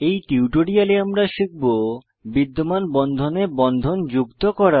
এই টিউটোরিয়ালে আমরা শিখব বিদ্যমান বন্ধনে বন্ধন যুক্ত করা